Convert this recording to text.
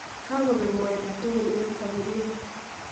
Kaakobek mwaita tukul eng' sapurieet